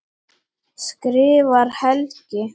skrifar Helgi.